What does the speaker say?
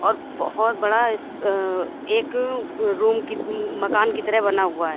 और बहोत बड़ा इस अ एक रूम की मकान की तरह बना हुआ है।